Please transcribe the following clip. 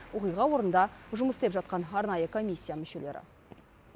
оқиға орнында жұмыс істеп жатқан арнайы комисия мүшелері